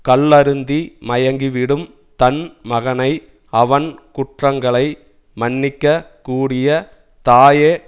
கள்ளருந்தி மயங்கிவிடும் தன் மகனை அவன் குற்றங்களை மன்னிக்கக் கூடிய தாயே